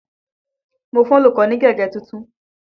Mo fún olùkọ́ ní gègé tuntun.